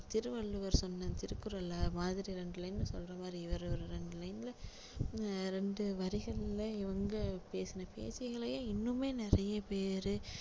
திருவள்ளுவர் சொன்ன திருக்குறள் மாதிரி ரெண்டு line ல சொல்ற மாதிரி இவரு ஒரு ரெண்டு line ல அஹ் ரெண்டு வரிகளில இவங்க பேசுன பேச்சுக்களையே இன்னுமே நிறைய பேரு